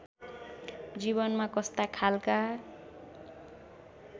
जीवनमा कस्ता खालका